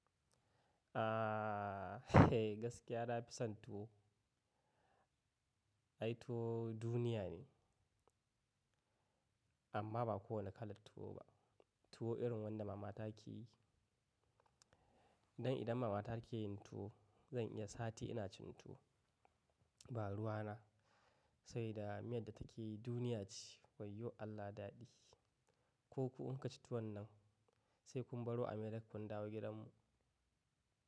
Ah, gaskiya na fi son tuwo. Ai tuwo duniya ne amma ba kowane kalar tuwo ba. Tuwo irin wanda mama ta ke yi. Dan idan mama ta ke yin tuwo, zan iya sati ina cin tuwo. Ba ruwa na, sabida miyar da take yi duniya ce. Wayyo Allah daɗi. Ko ku in ka ci tuwon nan sai kun baro America kun dawo gidanmu.